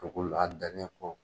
Dugukolo la hali garidiɲɛn kɔ.